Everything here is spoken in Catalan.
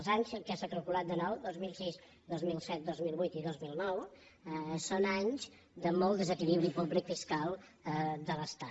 els anys que s’ha calculat de nou dos mil sis dos mil set dos mil vuit i dos mil nou són anys de molt desequilibri públic fiscal de l’estat